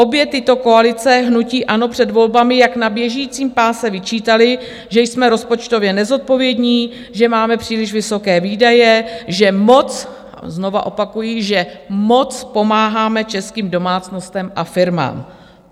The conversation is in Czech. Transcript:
Obě tyto koalice hnutí ANO před volbami jak na běžícím páse vyčítaly, že jsme rozpočtově nezodpovědní, že máme příliš vysoké výdaje, že moc, znovu opakuji, že moc pomáháme českým domácnostem a firmám.